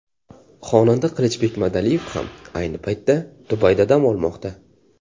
Xonanda Qilichbek Madaliyev ham ayni paytda Dubayda dam olmoqda.